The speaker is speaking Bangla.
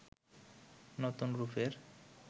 নতুন রূপের